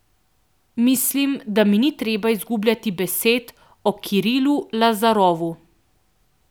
Mislim, da mi ni treba izgubljati besed o Kirilu Lazarovu.